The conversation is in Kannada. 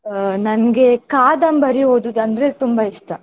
ಅಹ್ ನನ್ಗೆ ಕಾದಂಬರಿ ಓದುದಂದ್ರೆ ತುಂಬಾ ಇಷ್ಟ.